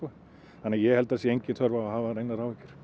þannig að ég held að það sé engin þörf á að hafa neinar áhyggjur